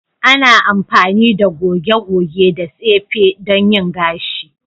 Ana amfani da goge-goge da tsefe don yin gashi.